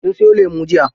Sun siyo lemu jiya.